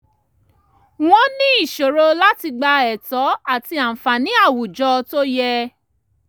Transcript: wọ́n ní ìṣòro láti gba ẹ̀tọ́ àti àǹfààní awùjọ tó yẹ